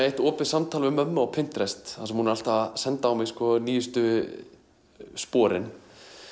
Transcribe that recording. eitt opið samtal við mömmu á þar sem hún er alltaf að senda á mig nýjustu sporin